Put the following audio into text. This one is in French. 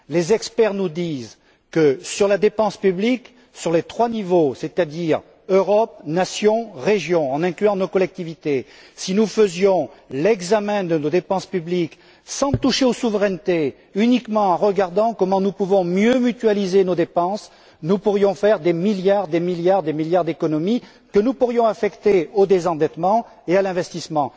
Les experts nous disent que, en ce qui concerne la dépense publique, à chacun des trois niveaux, c'est à dire Europe, nation, région, en incluant nos collectivités, si nous faisions l'examen de nos dépenses publiques, sans toucher aux souverainetés, uniquement en regardant comment nous pouvons mieux mutualiser nos dépenses, nous pourrions faire des milliards, des milliards, des milliards d'économies, que nous pourrions affecter au désendettement et à l'investissement.